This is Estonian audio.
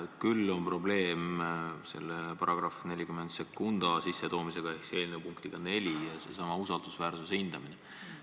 Küll aga on probleem selle § 402 sissetoomisega ehk eelnõu punktiga 4 ja usaldusväärsuse hindamisega.